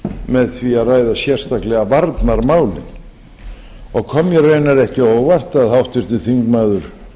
með því að ræða sérstaklega varnarmálin og kom mér raunar ekki á óvart að háttvirtur þingmaður